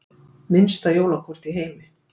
Minnsta jólakort í heimi